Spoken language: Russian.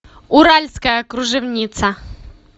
уральская кружевница